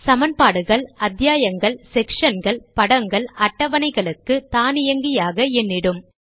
சமன்பாடுகள் அத்தியாயங்கள் செக்ஷன்கள் படங்கள் அட்டவணைகளுக்கு தானியங்கியாக எண் இடும்